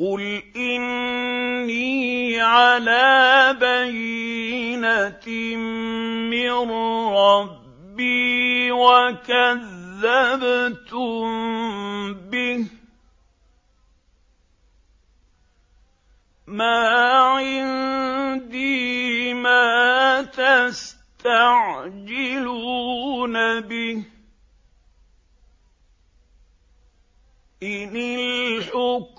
قُلْ إِنِّي عَلَىٰ بَيِّنَةٍ مِّن رَّبِّي وَكَذَّبْتُم بِهِ ۚ مَا عِندِي مَا تَسْتَعْجِلُونَ بِهِ ۚ إِنِ الْحُكْمُ